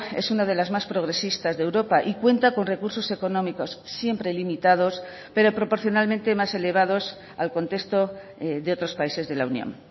es una de las más progresistas de europa y cuenta con recursos económicos siempre limitados pero proporcionalmente más elevados al contexto de otros países de la unión